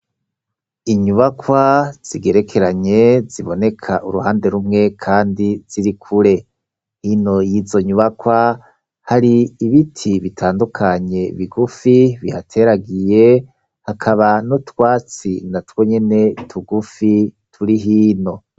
Inyubakwa zigerekeranye ziboneka uruhande rumwe kandi ziri kure hino y'izo nyubakwa hari ibiti bitandukanye bigufi bihateragiye hakaba n'utwatsi na twonyene tugufi turi hino.